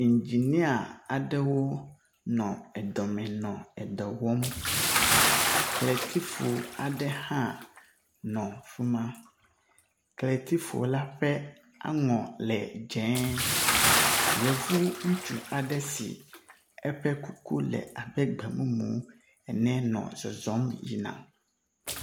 Iŋdzinia aɖewo nɔ edɔme nɔ edɔ wɔm. Kletifu aɖe hã nɔ fi ma. Kletifu la ƒe aŋɔ le dzẽẽ. Yevu ŋutsu aɖe si eƒe kuku le abe gbemumu ene nɔ zɔzɔm yina.